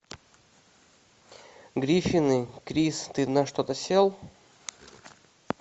гриффины крис ты на что то сел